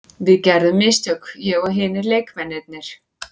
Við gerðum mistök, ég og hinir leikmennirnir.